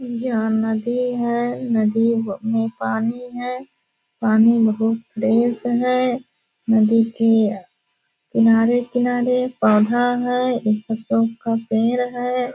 यहाँ नदी है नदी ब मे पानी है। पानी बहुत तेज है नदी के किनारे-किनारे पौधा है एक कुसुम का पेड़ है --